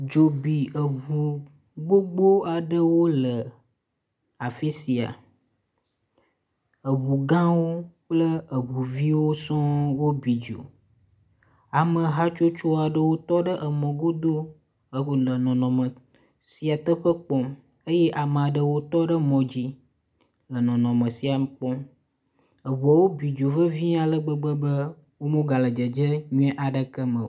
Dzo bi eʋu gbogbo aɖewo le afisia, eʋu gãwo kple eʋu viwo sɔɔŋ wo bi dzo. Ame hatsotso aɖewo tɔ ɖe emɔ godo he go le nɔnɔme sia teƒe kpɔm eye ame aɖewo tɔ mɔdzi le nɔnɔme sia kpɔm. Eʋuawo bi dzo vevie ale gbegbe be wo me gale dzedze nyuie aɖeke me o.